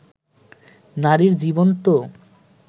নারীর জীবন তো